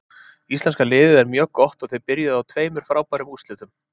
Íslenska liðið er mjög gott og þeir byrjuðu á tveimur frábærum úrslitum.